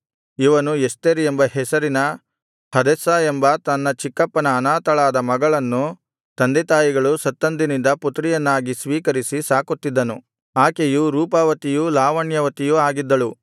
ಇವನು ಎಸ್ತೇರ್ ಎಂಬ ಹೆಸರಿನ ಹದೆಸ್ಸಾ ಎಂಬ ತನ್ನ ಚಿಕ್ಕಪ್ಪನ ಅನಾಥಳಾದ ಮಗಳನ್ನು ತಂದೆತಾಯಿಗಳು ಸತ್ತಂದಿನಿಂದ ಪುತ್ರಿಯನ್ನಾಗಿ ಸ್ವೀಕರಿಸಿ ಸಾಕುತ್ತಿದ್ದನು ಆಕೆಯು ರೂಪವತಿಯೂ ಲಾವಣ್ಯವತಿಯೂ ಆಗಿದ್ದಳು